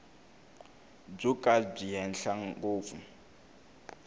byo ka byi henhla ngopfu